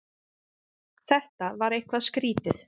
Þetta var eitthvað skrýtið.